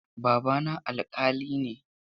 Babana alƙali ne.